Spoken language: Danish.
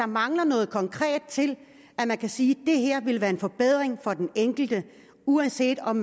mangler noget konkret til at man kan sige det her vil være en forbedring for den enkelte uanset om